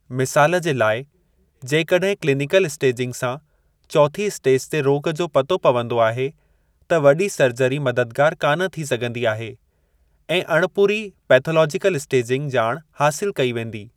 मिसालु जे लाइ, जेकड॒हिं क्लिनिकल स्टेजिंग सां चौथीं स्टेज जे रोॻु जो पतो पवंदो आहे, त वॾी सर्जरी मददगार कान थी सघिंदी आहे, ऐं अणिपूरी पैथोलॉजिकल स्टेजिंग ॼाणु हासिलु कई वेंदी।